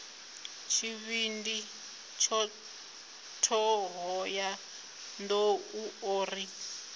tshivhindi thohoyanḓ ou o ri